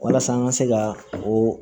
Walasa an ka se ka oo